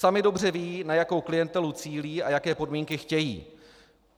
Sami dobře vědí, na jakou klientelu cílí a jaké podmínky chtějí.